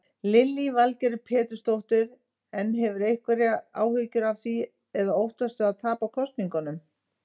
Lillý Valgerður Pétursdóttir: En hefurðu einhverjar áhyggjur af því eða óttastu að tapa kosningunum?